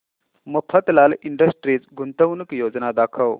Mafatlal industries गुंतवणूक योजना दाखव